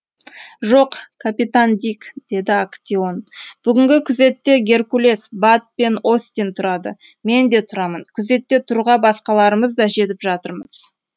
жоқ капитан дик деді актеон бүгінгі күзетте геркулес бат пен остин тұрады мен де тұрамын күзетте тұруға басқаларымыз да жетіп жатырмыз